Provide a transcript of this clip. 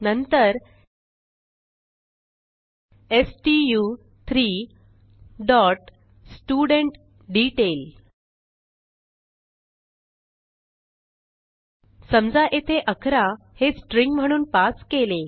नंतर स्टू3 dot studentDetail समजा येथे 11 हे स्ट्रिंग म्हणून पास केले